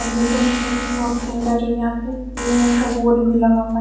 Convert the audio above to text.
और ये दोनों बोहोत सुन्दर है यहा पे पीले रंग का बोर्ड भी लगा हुआ है ।